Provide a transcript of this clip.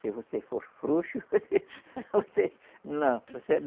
Se você for frouxo, você não. Você